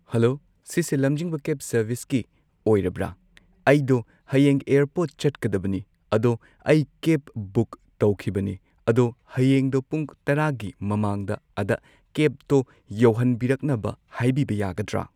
hello ꯁꯤꯁꯦ ꯂꯝꯖꯤꯡꯕ cab ꯁꯔꯚꯤꯁꯀꯤ ꯑꯣꯏꯔꯕ꯭ꯔ ꯑꯩꯗꯣ ꯍꯌꯦꯡ ꯑꯦꯌꯔꯄꯣꯔꯠ ꯆꯠꯀꯗꯕꯅꯤ ꯑꯗꯣ ꯑꯩ ꯀꯦꯕ ꯕꯨꯛ ꯇꯧꯈꯤꯕꯅꯦ ꯑꯗꯣ ꯍꯌꯦꯡꯗꯣ ꯄꯨꯡ ꯇꯔꯥꯒꯤ ꯃꯃꯥꯡꯗ ꯑꯗ ꯀꯦꯕꯇꯣ ꯌꯧꯍꯟꯕꯤꯔꯛꯅꯕ ꯍꯥꯏꯕꯤꯕ ꯌꯥꯒꯗ꯭ꯔꯥ